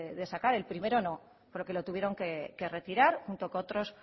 de sacar el primero no porque lo tuvieron que retirar junto con otros